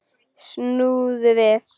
Snúðu við!